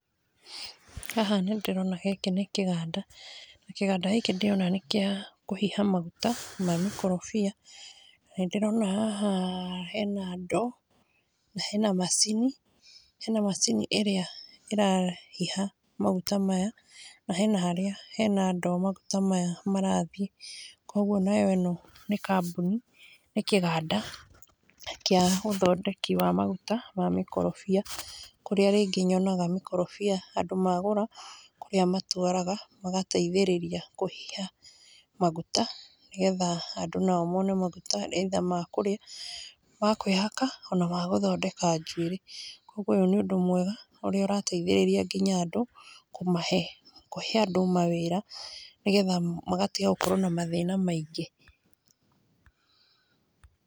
Haha nĩndĩrona gĩkĩ nĩ kĩganda na kĩganda gĩkĩ nĩ ndĩrona nĩ gĩa kũhĩha magũta ma mũkorobia na ndĩrona haha hena ndo na hena macĩnĩ, hena macĩnĩ ĩrĩa hĩha magũta maya na hena harĩa hena ndo harĩa magũta maya marathĩe kwogo nayo ĩno nĩ kabmũnĩ nĩ kĩganda kĩa ũthondekĩ wa magũta wa mĩkorobia, kũrĩa rĩngĩ nyonaga mĩkorobia andũ magũra kũrĩa matwaraga magateĩthĩrĩrĩa kũhĩha magũta nĩ getha andũ nao mone magũta either ma kũrĩa ma kwĩhaka ona magũthondeka njũĩrĩ. Kwogwo ũyũ nĩ ũndũ mwega ũrĩa ũrateĩthĩrĩrĩa ngĩnya andũ kũmahe kũhe andũ mawĩra nĩ getha magatĩga gũkorwo na mathĩna maĩngĩ.